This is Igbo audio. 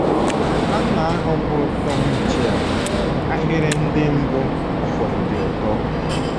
Nwanna ahụ bụ Tom Mitchell, ahịrị ndị mbụ ọ fụrụ dị ụtọ.